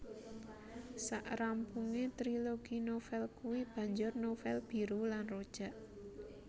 Sak rampunge trilogi novel kui banjur novel Biru lan Rojak